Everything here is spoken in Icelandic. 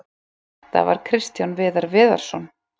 Þetta var Kristján Viðar Viðarsson.